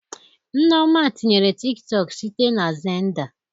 Nneoma tinyerem Tiktọk site na Xenda